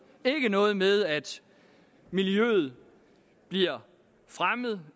ikke noget med at miljøet bliver fremmet